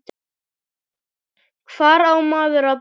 Hvar á maður að byrja?